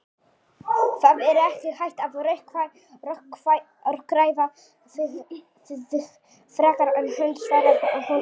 Það er ekki hægt að rökræða við þig frekar en hund, svarar hún æst.